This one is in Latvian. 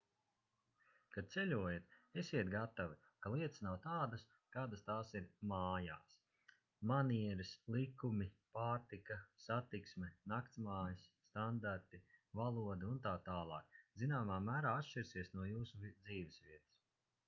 kad ceļojat esiet gatavi ka lietas nav tādas kādas tās ir mājās manieres likumi pārtika satiksme naktsmājas standarti valoda un tā tālāk zināmā mērā atšķirsies no jūsu dzīvesvietas